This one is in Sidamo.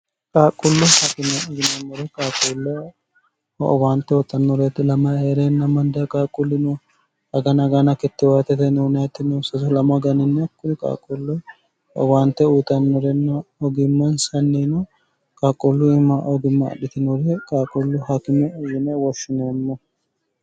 qaaqullu hkime yimemmuru qaaquullo owaante uutannoreti lama hee'reinna mandaa qaaquulli no agana gana kittiwaateteniunayittino sso 2mo haganinna kkuni qaaqullu owaante uyitannorenn ogimmansannino qaaquullu im ogimmaadhitinore qaaqullu haakime uyine woshshineemmo